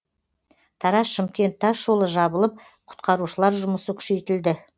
тараз шымкент тас жолы жабылып құтқарушылар жұмысы күшейтілді